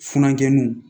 Funankɛninw